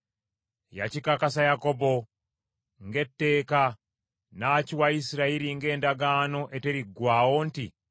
Yakikakasa Yakobo ng’etteeka, n’akiwa Isirayiri ng’endagaano eteriggwaawo nti,